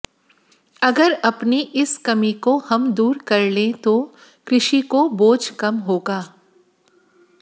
अगर अपनी इस कमी को हम दूर कर लें तो कृषि को बोझ कम होगा